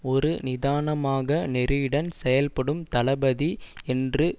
ஒரு நிதானமாக நெறியுடன் செல்படும் தளபதி என்று